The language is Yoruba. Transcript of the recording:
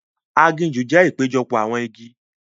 Aginjù jẹ ìpéjọpọ̀ awọn igi.